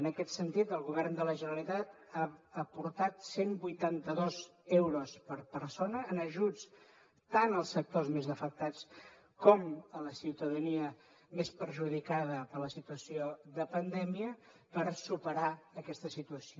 en aquest sentit el govern de la generalitat ha aportat cent i vuitanta dos euros per persona en ajuts tant als sectors més afectats com a la ciutadania més perjudicada per la situació de pandèmia per superar aquesta situació